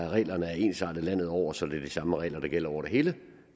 at reglerne er ensartet landet over så det er de samme regler der gælder over det hele